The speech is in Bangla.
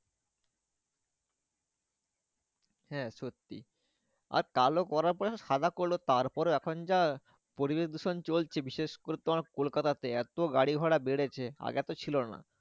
হ্যাঁ সত্যি আর কালো করার পরে সব সাদা করলো তার পরে এখন যা পরিবেশ দূষণ চলছে বিশেষ করে তোমার কলকাতাতে এতো গাড়ি ঘোড়া বেড়েছে আগে এতো ছিল না।